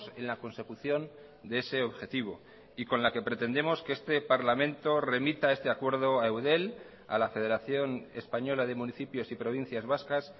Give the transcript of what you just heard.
en la consecución de ese objetivo y con la que pretendemos que este parlamento remita este acuerdo a eudel a la federación española de municipios y provincias vascas